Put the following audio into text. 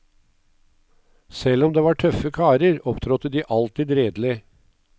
Selv om det var tøffe karer, opptrådte de alltid redelig.